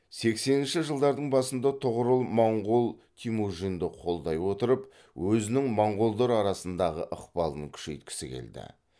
сексенінші жылдардың басында тұғырыл монғол темүжінді қолдай отырып өзінің монғолдар арасындағы ықпалын күшейткісі келді